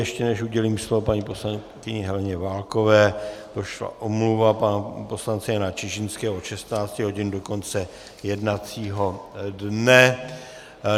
Ještě než udělím slovo paní poslankyni Heleně Válkové, došla omluva pana poslance Jana Čižinského od 16 hodin do konce jednacího dne.